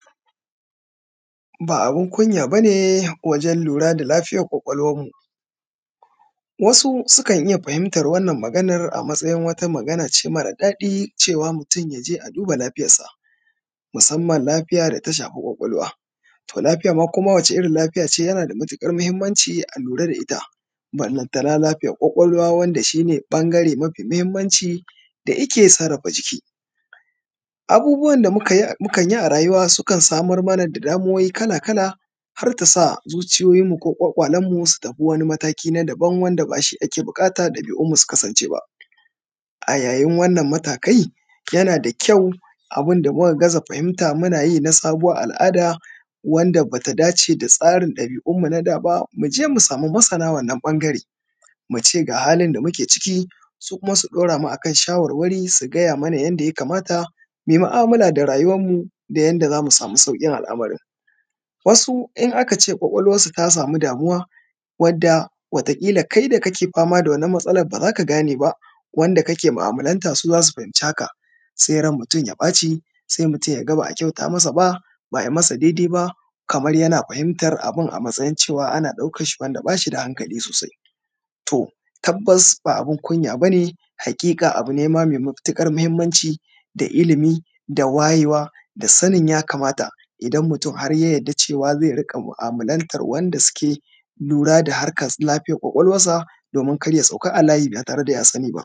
Ba abun kunya bane wajen lura da lafiyar kwakwalwarmu. Wasu sukan iya fahimtar wannan maganar a matsayin wata magana ce mare daɗi cewa mutum ya je a duba lafiyarsa, musamman lafiya da ta shafi kwakwalwa. To lafiya ma koma wace irin kafiya ce yana da matuƙar muhimmanci a lura da ita balanta na lafiyar kwakwalwa wanda shi ne ɓangare mafi mahimmanci da yike sarrafa jiki. Abubuwan da mukan yi a rayuwa sukan samar mana da damuwoyi kala kala har tasa zuciyoyinmu ko kwakwalwarmu su tafi wani mataki na dabam wanda bashi ake buƙata dabi’unmu su kasance ba. A yayin wannan matakai yana da kyau abunda muka gaza fahimta muna yi na sabuwar al’ada wanda bata dace da tsarin dabi’unmu na da ba mu je mu samu masana wannan ɓangare muce ga halin da muke ciki, su kuma su dauramu akan shawarwari su gaya mana yanda ya kamata mu mu’amala da rayuwanmu da yanda zamu samu saukin al’amarin. Wasu in aka ce kwakwalwarsu ta samu damuwa wadda wata ƙila kai da kake fama da wannan matsalar ba zaka gane ba, wanda kake mu’amalanta su za su fahimci haka, sai ran mutum ya ɓaci sai mutum yaga ba a kyauta masa ba, ba ai masa daidai ba kamar yana fahimtar abin a matsayin cewa wanda bashi da hankali sosai. To tabbas ba abin kunya bane haƙiƙa abu ne mai matuƙar mahimmanci da ilimi, da wayewa, da sanin ya kamata idan mutum har ya yadda cewa zai rinƙa mu’amalantar wadda suke lura da harkan lafiyan kwakwalwansa domin kar ya sauka a layi ba tare daya sani ba.